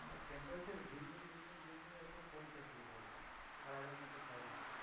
Temperature দিন দিন দিন দিন দিন দিন এরকম কমতে শুরু করবে আর আগের মতো থাকবে না।